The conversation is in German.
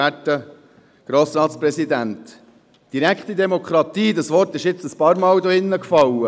Der Begriff «direkte Demokratie» wurde hier drin mehrmals genannt.